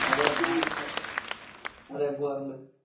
അതെ ഞാൻ അതെ പോവാറുണ്ട്